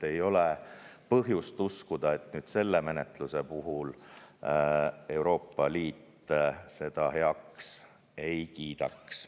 Ei ole põhjust uskuda, et selle menetluse puhul Euroopa Liit seda heaks ei kiidaks.